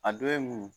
A dɔ ye mun